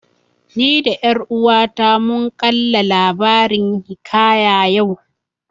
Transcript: Ni da ƴar uwata mun kalla labarin hiƙaya yau